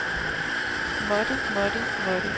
måtte måtte måtte